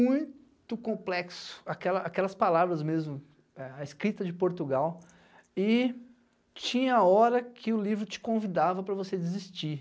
muito complexo, aquela aquelas palavras mesmo, eh a escrita de Portugal, e tinha hora que o livro te convidava para você desistir.